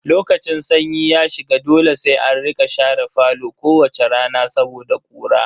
Lokacin sanyi ya shiga dole sai an rika share falo kowace rana saboda ƙura.